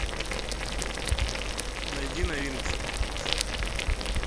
найди новинки